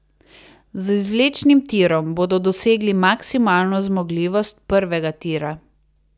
Z izvlečnim tirom bodo dosegli maksimalno zmogljivost prvega tira.